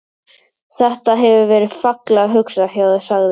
Þetta. hefur verið fallega hugsað hjá þér sagði